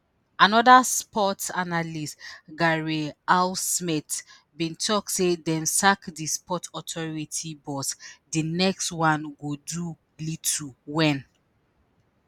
anoda sports analysts gary al-smith bin tok say “dem sack di sport authority boss di next one go do little wen